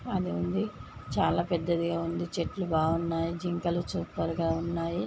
అది ఉంది చాలా పెద్దదిగా ఉంది చెట్లు బాగున్నాయి జింకలు గా ఉన్నాయి.